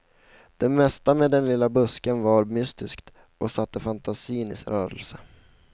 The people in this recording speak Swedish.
Det mesta med den lilla busken var mystiskt och satte fantasin i rörelse.